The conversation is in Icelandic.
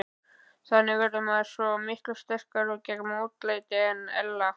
Þannig verður maður svo miklu sterkari gegn mótlæti en ella.